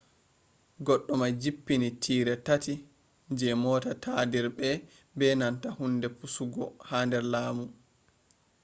goddumai jippini tire tati je mota tadirbe be nanta hunde pusugo ha der lamu